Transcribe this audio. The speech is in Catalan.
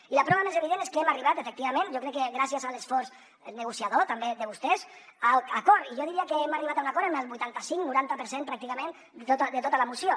i la prova més evident és que hem arribat efectivament jo crec que gràcies a l’esforç negociador també de vostès a l’acord i jo diria que hem arribat a un acord en el vuitanta cinc noranta per cent pràcticament de tota la moció